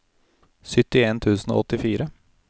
syttien tusen og åttifire